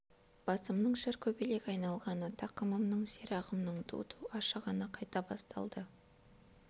басымның шыр көбелек айналғаны тақымымның сирағымның ду-ду ашығаны қайта басталды